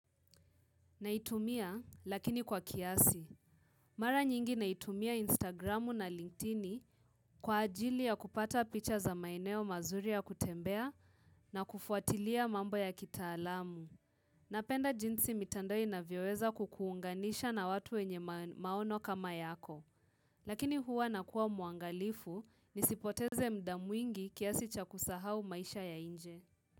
Naitumia lakini kwa kiasi. Mara nyingi naitumia Instagramu na LinkedIni kwa ajili ya kupata picha za maeneo mazuri ya kutembea na kufuatilia mambo ya kitaalamu. Napenda jinsi mitando inavyoweza kukuunganisha na watu wenye maono kama yako. Lakini huwa nakua muangalifu nisipoteze muda mwingi kiasi cha kusahau maisha ya nje.